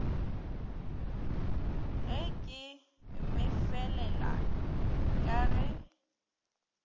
ge ke mmefelela ka ge